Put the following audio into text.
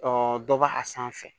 dɔ b'a a sanfɛ